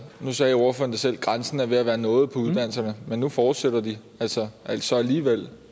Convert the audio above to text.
nu sagde ordføreren selv at grænsen var ved at være nået på uddannelserne men nu fortsætter de altså altså alligevel